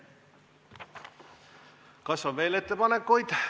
Kas on veel ettepanekuid?